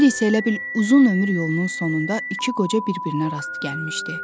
İndi isə elə bil uzun ömür yolunun sonunda iki qoca bir-birinə rast gəlmişdi.